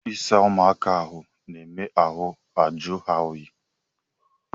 Ịsa ụ̣mụaka ahụ na-eme ahụ ajụọ ha oyi